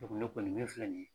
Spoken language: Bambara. O tɛmɛnen kɔ nin min filɛ nin ye.